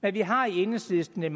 men vi har i enhedslisten en